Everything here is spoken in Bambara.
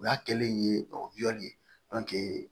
O y'a kɛlen ye